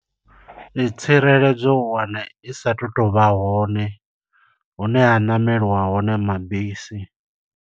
Tsireledzo u wana i sa tu to vha hone, hune ha ṋameliwa hone mabisi.